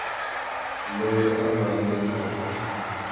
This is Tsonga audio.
loyi a nga le ka